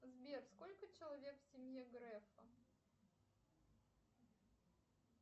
сбер сколько человек в семье грефа